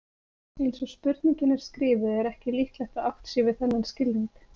Eins og spurningin er skrifuð er ekki líklegt að átt sé við þennan skilning.